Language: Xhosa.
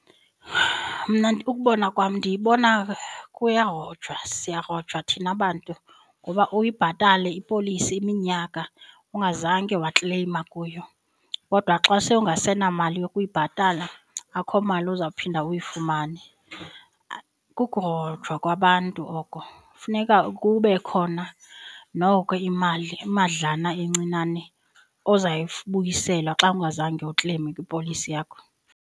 Mna ukubona kwam ndiyibona kuyarojwa siyarojwa thina bantu ngoba uyibhatale ipolisi iminyaka ungazange wakleyima kuyo kodwa xa sewungasenamali yokuyibhatala akukho mali ozawuphinda uyifumane. Kukurojwa kwabantu oko, funeka kube khona noko imali imadlana encinane ozawuyibuyiselwa xa ungazange ukleyime kwipolisi yakho.